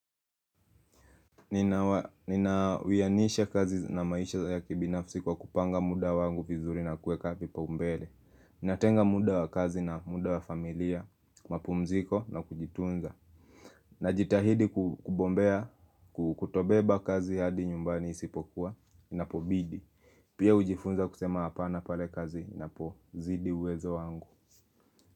Ninawianisha kazi na maisha ya kibinafsi kwa kupanga muda wangu vizuri na kueka kipaumbele Natenga muda wakazi na muda wa familia, mapumziko na kujitunza Najitahidi kubombea, kutobeba kazi hadi nyumbani isipokuwa, inapobidi Pia hujifunza kusema apana pale kazi, inapozidi uwezo wangu.